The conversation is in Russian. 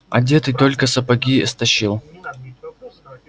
одетый только сапоги стащил